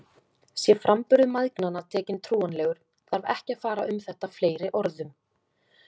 Sé framburður mæðgnanna tekinn trúanlegur, þarf ekki að fara um þetta fleiri orðum.